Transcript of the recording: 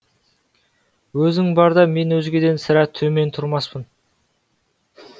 өзің барда мен өзгеден сірә төмен тұрмаспын